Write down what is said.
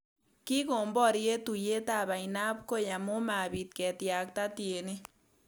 Kikon boryet tuiyetab ainabkoi amu mabit ketyakta tienik